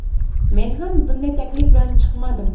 Men ham bunday taklif bilan chiqmadim.